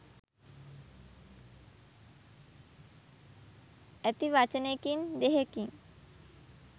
ඇති වචනෙකින් දෙහෙකින්.